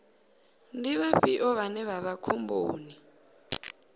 ndi vhafhio vhane vha vha khomboni